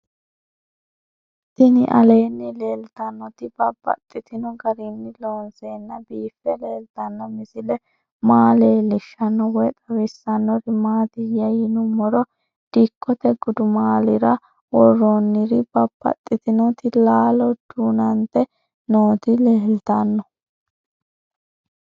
Tinni aleenni leelittannotti babaxxittinno garinni loonseenna biiffe leelittanno misile maa leelishshanno woy xawisannori maattiya yinummoro dikkotte gudummaallira woroonniri babaxxittinnotti laallo duunante nootti leelittanno